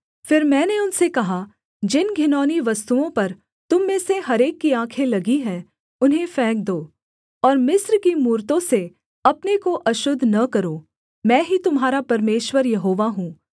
फिर मैंने उनसे कहा जिन घिनौनी वस्तुओं पर तुम में से हर एक की आँखें लगी हैं उन्हें फेंक दो और मिस्र की मूरतों से अपने को अशुद्ध न करो मैं ही तुम्हारा परमेश्वर यहोवा हूँ